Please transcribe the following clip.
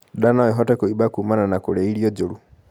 Ndaa noĩhote kuimba kumana na kurĩa irio njuru